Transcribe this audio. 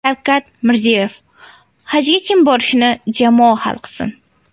Shavkat Mirziyoyev: Hajga kim borishini jamoat hal qilsin.